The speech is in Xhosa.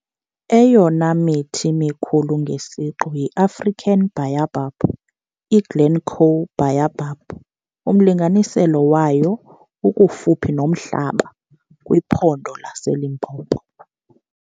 Eyona mithi mikhulu ngesiqu yiAfrican Baobab - iGlencoe Baobab, umlinganiselo wayo ukufuphi nomhlaba, kwiPhondo laseLimpopo.